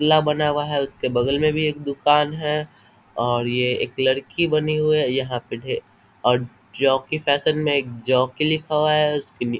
बना हुआ है उसके बगल मे भी एक दुकान है और ये एक लड़की बनी हुई है और यहां पे ढेर और जो की फैशन मे है एक जोकि लिखा हुआ है उसके --